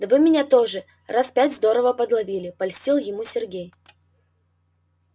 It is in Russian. да вы меня тоже раз пять здорово подловили польстил ему сергей